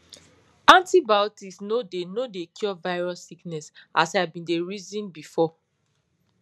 antibiotics no dey no dey cure virus sickness as i bin dey reason before